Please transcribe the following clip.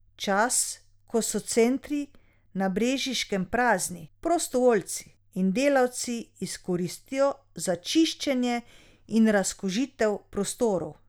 Čas, ko so centri na Brežiškem prazni, prostovoljci in delavci izkoristijo za čiščenje in razkužitev prostorov.